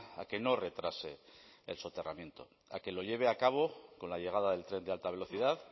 a que no retrase el soterramiento a que lo lleve a cabo con la llegada del tren de alta velocidad